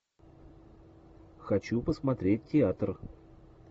хочу посмотреть театр